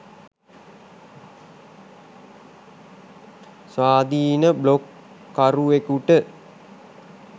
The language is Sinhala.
ස්වාධීන බ්ලොග්කරුවෙකුට